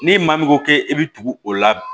Ni maa min ko k'e bɛ tugu o la